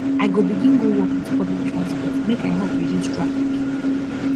i go begin go work wit public transport make i help reduce traffic